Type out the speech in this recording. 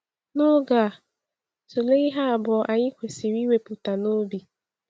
N’oge a, tụlee ihe abụọ anyị kwesịrị iwepụta n’obi.